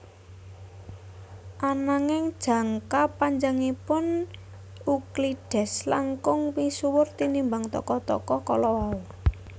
Ananging jangka panjangipun Euclides langkung misuwur tinimbang tokoh tokoh kalawau